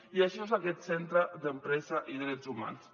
i això és aquest centre d’empresa i drets humans